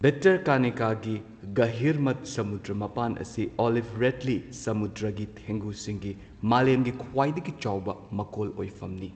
ꯚꯤꯇꯔꯀꯅꯤꯀꯥꯒꯤ ꯒꯍꯤꯔꯃꯊ ꯁꯃꯨꯗ꯭ꯔ ꯃꯄꯥꯟ ꯑꯁꯤ ꯑꯣꯂꯤꯚ ꯔꯤꯗꯂꯤ ꯁꯃꯨꯗ꯭ꯔꯒꯤ ꯊꯦꯡꯒꯨꯁꯤꯡꯒꯤ ꯃꯥꯂꯦꯝꯒꯤ ꯈ꯭ꯋꯥꯏꯗꯒꯤ ꯆꯥꯎꯕ ꯃꯀꯣꯜ ꯑꯣꯏꯐꯝꯅꯤ꯫